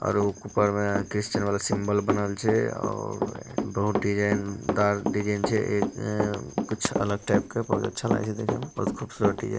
और ऊपर में क्रिस्चियन वाला सिंबयल बनल छै और बहुत डिज़ाइनदार डिज़ाइन छै एक कुछ अलग टाइप के बहुत अच्छा लागे छै देखे मे बहुत खूबसूरत डिजाइन---